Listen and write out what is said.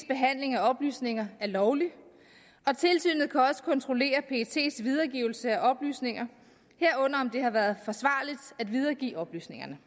behandling af oplysninger er lovlig og tilsynet kan også kontrollere pets videregivelse af oplysninger herunder om det har været forsvarligt at videregive oplysningerne